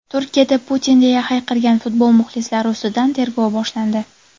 Turkiyada "Putin" deya hayqirgan futbol muxlislari ustidan tergov boshlandi.